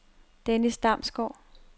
Dennis Damsgaard